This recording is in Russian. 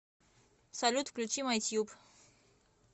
салют включи май тайп